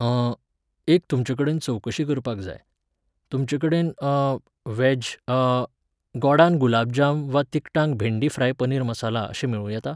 अं... एक तुमचे कडेन चोवकशी करपाक जाय. तुमचेकडेन अं. व्हॅज अं.. गोडान गुलाबजाम वा तिकटांक भेंडी फ्राय पनीर मसाला अशें मेळू येता?